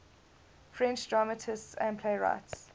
french dramatists and playwrights